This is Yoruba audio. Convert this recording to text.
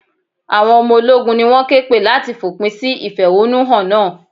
Àwọn ọmọ ológun ni wón ké pè láti fòpin sí ìfẹ̀húnú hàn náà.